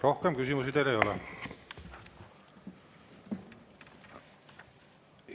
Rohkem küsimusi teile ei ole.